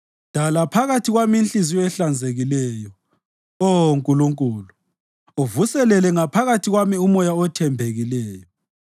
Dala phakathi kwami inhliziyo ehlanzekileyo, Oh Nkulunkulu uvuselele ngaphakathi kwami umoya othembekileyo.